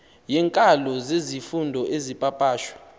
yeenkalo zezifundo ezipapashwe